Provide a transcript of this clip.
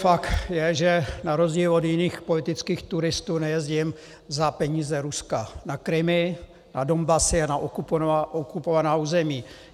Fakt je, že na rozdíl od jiných politických turistů nejezdím za peníze Ruska na Krymy, na Donbasy a na okupovaná území.